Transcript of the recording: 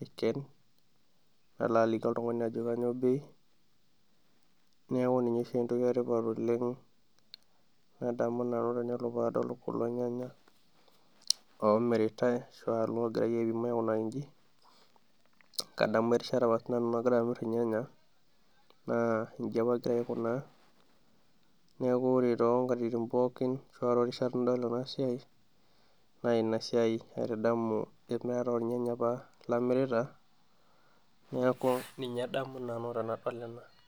aiken, nalo aliki oltungani ajo kanyio bei, neeku ninye duo entoki etipat oleng' nadamu enaa ore paadol kulo nyanya oomiritai ashu aa loogirai aipim aikunaki inji, kadamu erishata apa nagira sinanu amir ilnyanya naa inji apa agira aikunaa, neeku ore toonkatitin pookin naa toorishat nidol ena siai naa ina siai aaitadamu olnyanya apa lamirita, neeku ninye adamu nanu tenadol ena.